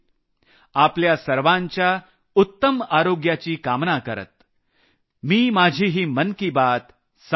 आपल्या सर्वांच्या उत्तम आरोग्याची कामना करत मी माझी ही मन की बात संपवत आहे